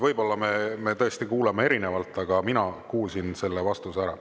Võib-olla me tõesti kuulame erinevalt, aga mina kuulsin selle vastuse ära.